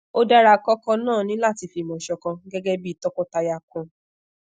o dara koko naa ni lati fimo sokan gegebi tọkọtaya kan